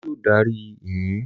Olú yóò darí ìyìn!